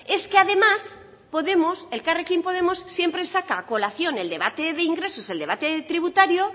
es que además podemos elkarrekin podemos siempre saca a colación el debate de ingresos el debate tributario